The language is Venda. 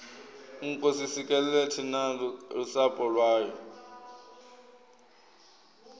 nkosi sikelela thina lusapho lwayo